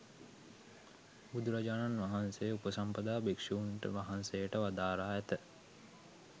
බුදුරජාණන් වහන්සේ උපසම්පදා භික්‍ෂූන් වහන්සේට වදාරා ඇත.